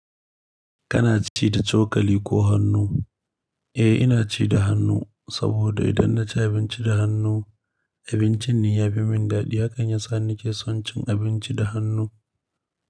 Kana ci da cokali ko hannu? Eh, ina ci da hannu saboda idan na ci abinci da hannu, abincin ya yi min daɗi. Hakan ya sa nake son cin abinci da hannu.